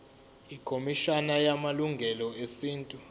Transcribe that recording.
ikhomishana yamalungelo esintu